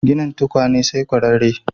Ginin tukunya sai ƙwararre.